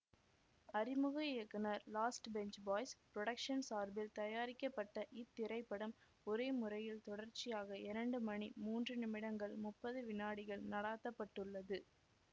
அறிமுக இயக்குனர் last bench boys production சார்பில் தயாரிக்கப்பட்ட இத் திரைப்படம் ஒரே முறையில் தொடர்ச்சியாக இரண்டு மணி மூன்று நிமிடங்கள் முப்பது வினாடிகள் நடாத்தப்பட்டுள்ளது